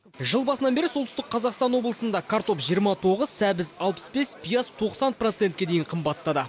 жыл басынан бері солтүстік қазақстан облысында картоп жиырма тоғыз сәбіз алпыс бес пияз тоқсан процентке дейін қымбаттады